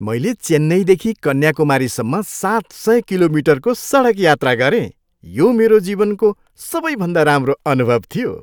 मैले चेन्नईदेखि कन्याकुमारीसम्म सात सय किलोमिटरको सडक यात्रा गरेँ, यो मेरो जीवनको सबैभन्दा राम्रो अनुभव थियो।